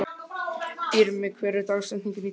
Irmý, hver er dagsetningin í dag?